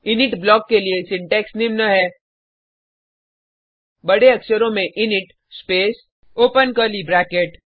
init block के लिए syntax निम्न है बडे अक्षरों में init space open curly bracket